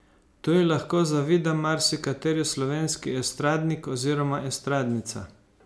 To ji lahko zavida marsikateri slovenski estradnik oziroma estradnica.